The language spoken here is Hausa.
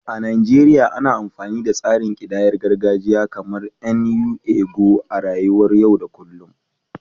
A Najeriya, ana amfani da tsarin kidayar gargajiya kamar "nnu ego" a rayuwar yau da kullum.